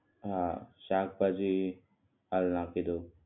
હા શાકભાજી હાલ નાખી દઉં